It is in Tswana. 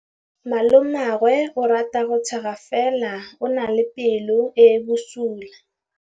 Malomagwe o rata go tshega fela o na le pelo e e bosula.